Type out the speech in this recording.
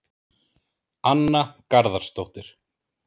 Anna Garðarsdóttir